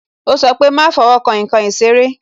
Ó sọ pé "má fowo kan nkan ìṣeré"